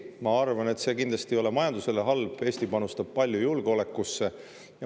Ma arvan, et see kindlasti ei ole majandusele halb, Eesti panustab palju julgeolekusse.